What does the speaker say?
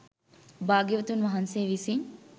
භාග්‍යවතුන් වහන්සේ විසින්